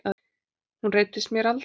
Hún reiddist mér aldrei.